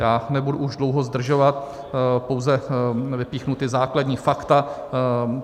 Já nebudu už dlouho zdržovat, pouze vypíchnu ta základní fakta.